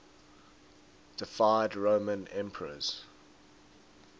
deified roman emperors